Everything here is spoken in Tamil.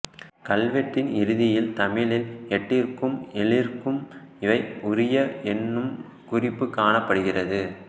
கல்வெட்டின் இறுதியில் தமிழில் எட்டிற்கும் ஏழிற்கும் இவை உரிய என்னும் குறிப்புக் காணப்படுகிறது